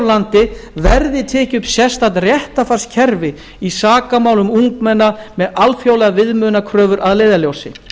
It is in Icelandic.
landi verði tekið upp sérstakt réttarfarskerfi í sakamálum ungmenna með alþjóðlegar viðmiðunarkröfur að leiðarljósi